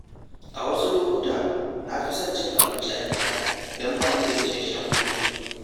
A wasu lokuta, na fi son cin abinci a gida idan ba ni da isasshen kuɗi.